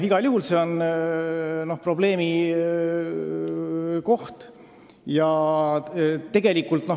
Igal juhul on see suur probleem.